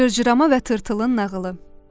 Cırcırama və tırtılın nağılı.